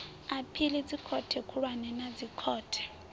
aphili dzikhothe khulwane na dzikhothe